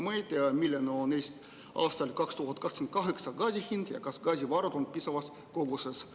Me ei tea, milline on aastal 2028 gaasi hind ja kas gaasivarusid on piisavas koguses.